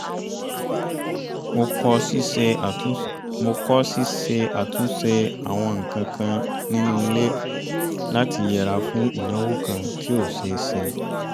mo kọ́ ṣíṣe àtúnṣe àwọn nǹkankan nínú ilé láti yẹra fún ìnáwó kan tí ó ṣe é ṣe